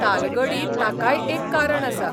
तालगढी ताकाय एक कारण आसा.